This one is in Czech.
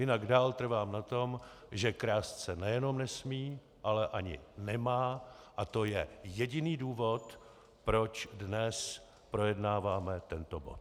Jinak dál trvám na tom, že krást se nejenom nesmí, ale ani nemá, a to je jediný důvod, proč dnes projednáváme tento bod.